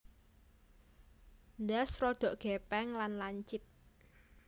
Ndas rodok gèpèng lan lancip